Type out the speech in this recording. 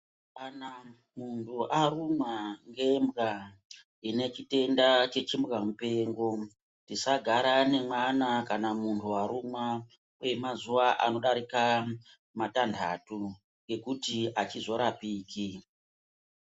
Kana muntu arumwa ngembwa inechitenda chechimbwa mupengo tisagara neana kana munhu arumwa kwemazuva anodarika matanhatu ngekuti achizorapiki.